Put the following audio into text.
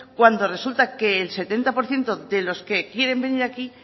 cuando resulta que el setenta por ciento de los que quieren venir aquí